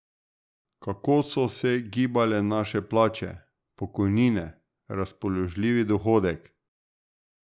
Kako so se gibale naše plače, pokojnine, razpoložljivi dohodek?